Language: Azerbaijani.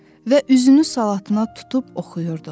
Və üzünü Salatına tutub oxuyurdu: